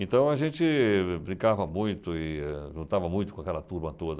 Então a gente brincava muito e juntava muito com aquela turma toda.